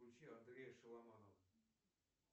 включи андрея шаламанова